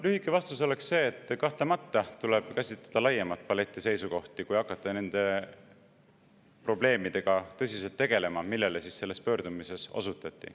Lühike vastus oleks see, et kahtlemata tuleb käsitleda laiemat paletti seisukohti, kui hakata tõsiselt tegelema nende probleemidega, millele selles pöördumises osutati.